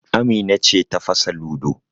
Amina ce ta fasa ludo